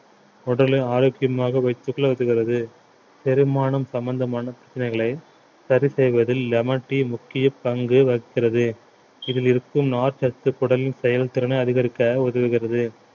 உடலின் ஆரோக்கியமாக வைத்துக் கொள்ள உதவுகிறது செரிமானம் சம்பந்தமான பிரச்சனைகளை சரி செய்வதில் lemon tea முக்கிய பங்கு வகிக்கிறது இதில் இருக்கும் நார்ச்சத்து குடலின் செயல்திறனை அதிகரிக்க உதவுகிறது